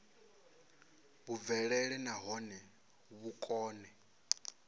vhu bvelele nahone vhu kone